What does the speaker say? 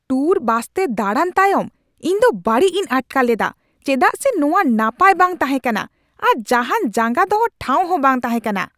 Tour ᱵᱟᱥᱛᱮ ᱫᱟᱬᱟᱱ ᱛᱟᱭᱚᱢ ᱤᱧᱫᱚ ᱵᱟᱹᱲᱤᱡᱤᱧ ᱟᱴᱠᱟᱨ ᱞᱮᱫᱟ ᱪᱮᱫᱟᱜ ᱥᱮ ᱱᱚᱶᱟ ᱱᱟᱯᱟᱭ ᱵᱟᱝ ᱛᱟᱦᱮᱸ ᱠᱟᱱᱟ ᱟᱨ ᱡᱟᱦᱟᱱ ᱡᱟᱸᱜᱟ ᱫᱚᱦᱚ ᱴᱷᱟᱶᱦᱚᱸ ᱵᱟᱝ ᱛᱟᱦᱮᱸ ᱠᱟᱱᱟ ᱾